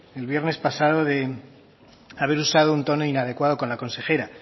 el viernes pasado de haber usado un tono inadecuado con la consejera